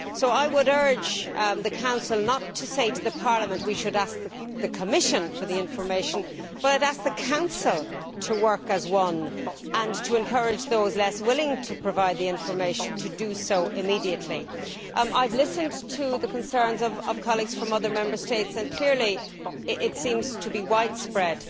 I would therefore urge the Council not to tell Parliament that we should ask the Commission for the information, rather I would ask the Council to work as one and to encourage those less willing to provide the information to do so immediately. I have listened to the concerns of colleagues from other Member States, and clearly this issue seems to be widespread.